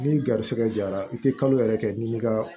Ni garisɛgɛ jara i tɛ kalo yɛrɛ kɛ ni ni ka